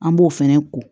An b'o fɛnɛ ko